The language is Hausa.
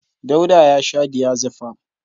Dauda ya sha diazefam.